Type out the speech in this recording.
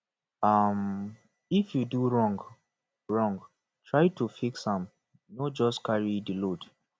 um if you do wrong wrong try to fix am no just carry di load